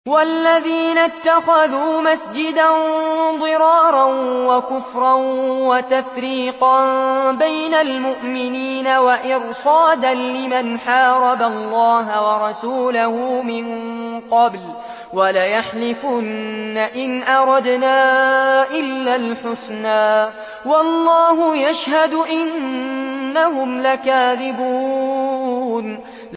وَالَّذِينَ اتَّخَذُوا مَسْجِدًا ضِرَارًا وَكُفْرًا وَتَفْرِيقًا بَيْنَ الْمُؤْمِنِينَ وَإِرْصَادًا لِّمَنْ حَارَبَ اللَّهَ وَرَسُولَهُ مِن قَبْلُ ۚ وَلَيَحْلِفُنَّ إِنْ أَرَدْنَا إِلَّا الْحُسْنَىٰ ۖ وَاللَّهُ يَشْهَدُ إِنَّهُمْ لَكَاذِبُونَ